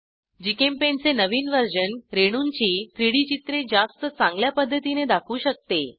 GChemPaint चे नवीन version रेणूंची 3डी चित्रे जास्त चांगल्या पध्दतीने दाखवू शकते